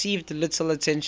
received little attention